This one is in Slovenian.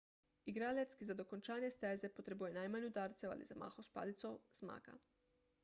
igralec ki za dokončanje steze potrebuje najmanj udarcev ali zamahov s palico zmaga